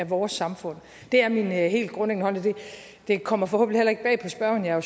vores samfund det er min helt grundlæggende holdning det kommer forhåbentlig heller ikke bag på spørgeren jeg er